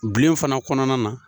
Bilenw fana kɔnɔna na.